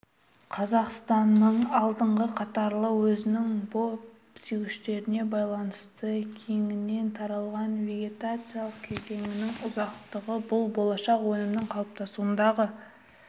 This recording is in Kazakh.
қазақстанның алдыңғы қатарлы өзінің бап сүйгіштігіне байланысты кеңінен таралған вегетациялық кезеңнің ұзақтығы бұл болашақ өнімнің қалыптасуындағы